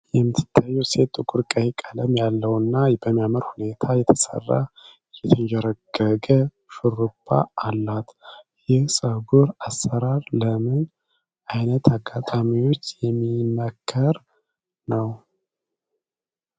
የምትታየው ሴት ጥቁር ቀይ ቀለም ያለውና በሚያምር ሁኔታ የተሰራ የተንዠረገገ ሹሩባ አላት። ይህ የፀጉር አሰራር ለምን ዓይነት አጋጣሚዎች የሚመከር ነው?